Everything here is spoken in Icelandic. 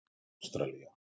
Ástralía